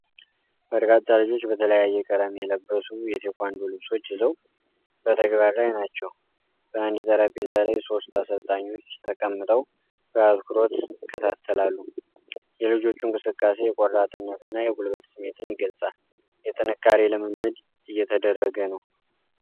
በርካታ ልጆች በተለያየ ቀለም የለበሱ የቴኳንዶ ልብሶች ይዘው በተግባር ላይ ናቸው። በአንድ ጠረጴዛ ላይ ሦስት አሰልጣኞች ተቀምጠው በአትኩሮት ይከታተላሉ። የልጆቹ እንቅስቃሴ የቆራጥነትና የጉልበት ስሜትን ይገልጻል፤ የጥንካሬ ልምምድ እየተደረገ ነው።